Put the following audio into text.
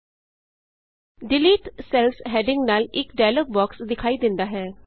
delete cells delete cells heading ਨਾਲ ਇਕ dialogue box ਦਿਖਾਈ ਦਿੰਦਾ ਹੈ